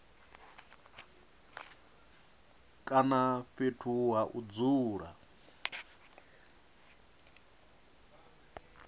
kana fhethu ha u dzula